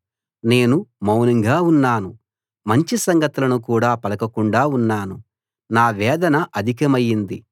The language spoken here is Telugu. నేను మౌనంగా ఉన్నాను మంచి సంగతులను కూడా పలకకుండా ఉన్నాను నా వేదన అధికమైంది